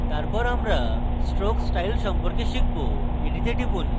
তারপর আমরা stroke style সম্পর্কে শিখব এটিতে টিপুন